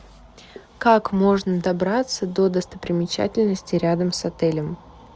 как можно добраться до достопримечательностей рядом с отелем